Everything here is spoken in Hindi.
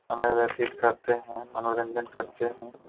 समय व्यतीत करते है मनोरंजन करते है।